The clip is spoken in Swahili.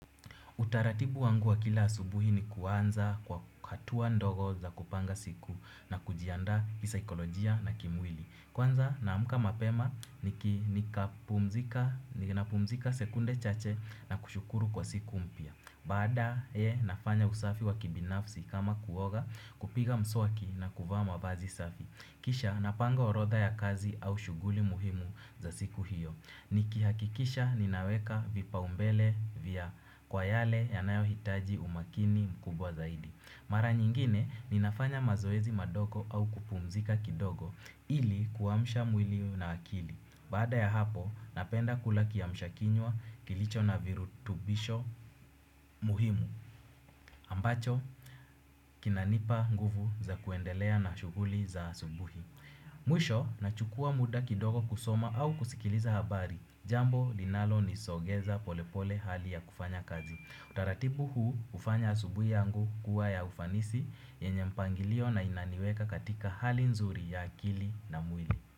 Utaratibu wangu wa kila asubuhi ni kuanza kwa hatua ndogo za kupanga siku na kujiandaa kisaikolojia na kimwili. Kuanza naamka mapema ninapumzika sekunde chache na kushukuru kwa siku mpya. Baadaye nafanya usafi wa kibinafsi kama kuoga kupiga mswaki na kuvaa vazi safi. Kisha napanga orodha ya kazi au shughuli muhimu za siku hiyo. Nikihakikisha ninaweka vipaumbele vya kwa yale yanayohitaji umakini mkubwa zaidi. Mara nyingine ninafanya mazoezi madogo au kupumzika kidogo ili kuamsha mwili na akili. Baada ya hapo napenda kula kiamshakinywa kilicho na virutubisho muhimu ambacho kinanipa nguvu za kuendelea na shughuli za asubuhi. Mwisho nachukua muda kidogo kusoma au kusikiliza habari. Jambo linalonisogeza polepole hali ya kufanya kazi. Utaratibu huu hufanya asubuhi yangu kuwa ya ufanisi yenye mpangilio na inaniweka katika hali nzuri ya akili na mwili.